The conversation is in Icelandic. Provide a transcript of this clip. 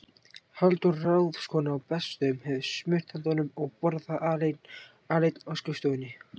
Halldóra, ráðskonan á Bessastöðum, hefur smurt handa honum og borða það aleinn á skrifstofunni.